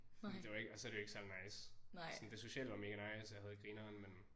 Det var ikke og så er det jo ikke særlig nice sådan det sociale var mega nice og jeg havde grineren men